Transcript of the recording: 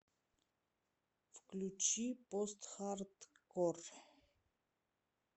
включи постхардкор